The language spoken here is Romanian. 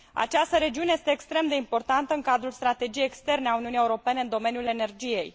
Această regiune este extrem de importantă în cadrul strategiei externe a Uniunii Europene în domeniul energiei.